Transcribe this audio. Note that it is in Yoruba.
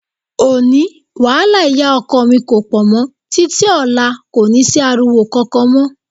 Òní, wàhálà ìyá ọkọ mi kò pọ̀ mọ́, títí ọ̀la kò ní sí ariwo kankan mọ́.